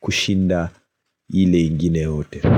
kushinda ile ingine yote.